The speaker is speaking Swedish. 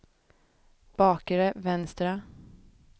bakre vänstra